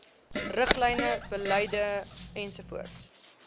riglyne beleide ens